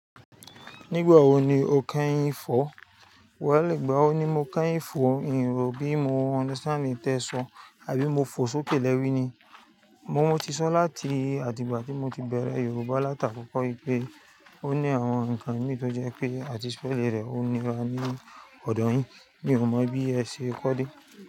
Nígbà wo ni o kẹ́yìn ń fọ̀? Wẹ̀ lè gba ọ́ ní mo kẹ́yìn ń fọ́, nǹ rò bí mo understand in tẹ́ so àbí mo fo sókè lẹ́wi ni. Mo ti sán láti àdìgbà tí mo ti bẹ̀rẹ̀ Yorùbá lati akókó pé ó ní àwọn ǹkan mí tó jẹ́ pé àti spell rẹ̀ ó nira ní ọ̀dọ̀ yín. Mi ò mọ̀ bí ẹ ṣe kọ dé.